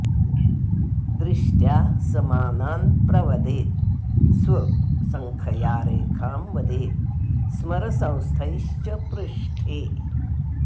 दृष्ट्या स मानान् प्रवदेत् स्व संख्ययारेखां वदेत् स्मर संस्थैश्च पृष्ठे